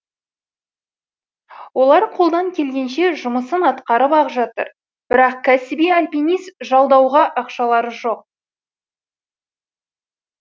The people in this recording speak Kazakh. олар қолдан келгенше жұмысын атқарып ақ жатыр бірақ кәсіби альпинист жалдауға ақшалары жоқ